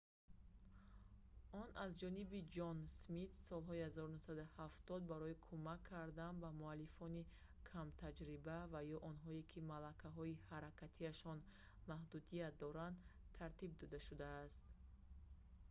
он аз ҷониби ҷон смит солҳои 1970 барои кӯмак кардан ба муаллифони камтаҷриба ва ё онҳое ки малакаҳои ҳаракатиашон маҳдудият дорад тартиб дода шудааст